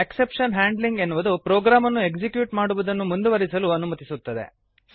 exception handling ಎನ್ನುವುದು ಪ್ರೋಗ್ರಾಮನ್ನು execute ಮಾಡುವದನ್ನು ಮುಂದುವರೆಸಲು ಅನುಮತಿಸುತ್ತದೆ